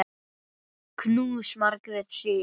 Knús, Margrét Sif.